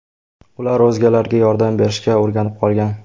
Ular o‘zgalarga yordam berishga o‘rganib qolgan.